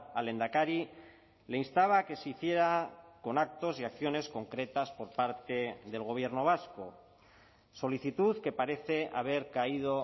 al lehendakari le instaba a que se hiciera con actos y acciones concretas por parte del gobierno vasco solicitud que parece haber caído